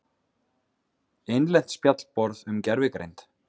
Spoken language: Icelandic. Innlent spjallborð um gervigreind.